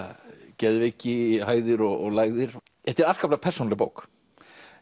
geðveiki hæðir og lægðir þetta er afskaplega persónuleg bók